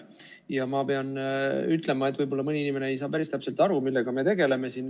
Ja ma pean ütlema, et võib-olla mõni inimene ei saa päris täpselt aru, millega me tegeleme siin.